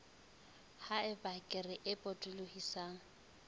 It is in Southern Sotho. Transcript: ha eba kere e potolohisang